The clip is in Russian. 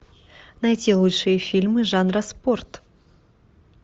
найти лучшие фильмы жанра спорт